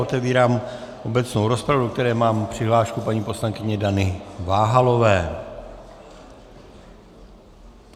Otevírám obecnou rozpravu, do které mám přihlášku paní poslankyně Dany Váhalové.